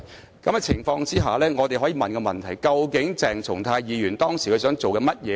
在這種情況下，我們可以問的問題是究竟鄭松泰議員當時想做甚麼呢？